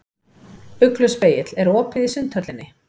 Ugluspegill, er opið í Sundhöllinni?